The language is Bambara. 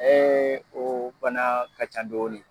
o bana ka can dɔɔni.